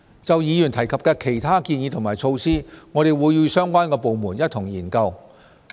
就議員提及的其他建議和措施，我們會與相關的部門一同研究。